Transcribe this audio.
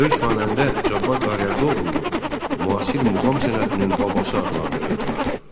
Böyük xanəndə Cabbar Qaryağdıoğlunu müasir muğam sənətinin babası adlandırırdılar.